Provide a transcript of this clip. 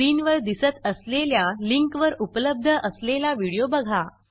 स्क्रीनवर दिसत असलेल्या लिंकवर उपलब्ध असलेला व्हिडिओ बघा